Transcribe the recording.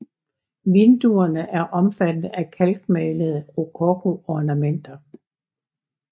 Vinduerne er omfattet af kalkmalede rokokoornamenter